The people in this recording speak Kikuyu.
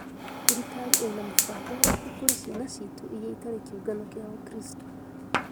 "Thirikari ĩna mũbango ũrĩkũ kũrĩ ciana citũ iria itarĩ kiongano kĩa Wakristo?